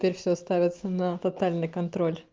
теперь все ставится на тотальный контроль